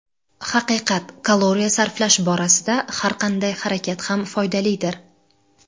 Haqiqat: kaloriya sarflash borasida har qanday harakat ham foydalidir.